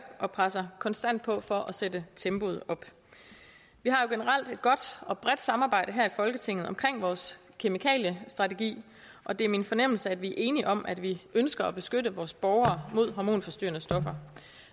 og presser konstant på for at sætte tempoet op vi har jo generelt et godt og bredt samarbejde her i folketinget omkring vores kemikaliestrategi og det er min fornemmelse at vi er enige om at vi ønsker at beskytte vores borgere mod hormonforstyrrende stoffer